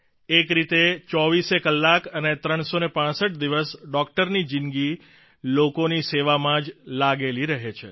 એક રીતે ચોવીસેય કલાક અને 365 દિવસ ડોકટરની જીંદગી લોકોની સેવામાં જ લાગેલી રહે છે